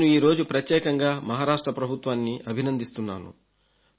నేను ఈరోజు ప్రత్యేకంగా మహారాష్ట్ర ప్రభుత్వాన్ని అభినందిస్తున్నాను